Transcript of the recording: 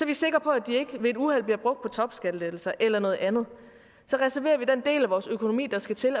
vi sikre på at de ikke ved et uheld bliver brugt på topskattelettelser eller noget andet så reserverer vi den del af vores økonomi der skal til